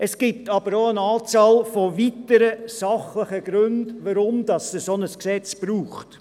Es gibt jedoch eine Anzahl weiterer sachlicher Gründe, weshalb es ein solches Gesetz braucht.